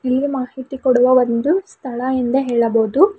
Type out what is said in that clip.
ಈ ಮಾಹಿತಿ ಕೊಡುವ ಒಂದು ಸ್ಥಳ ಎಂದ ಹೇಳಬೊದು.